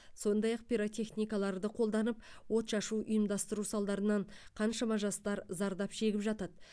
сондай ақ пиротехникаларды қолданып от шашу ұйымдастыру салдарынан қаншама жастар зардап шегіп жатады